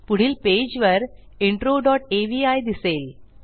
पुढील पेजवर intro dot avi दिसेल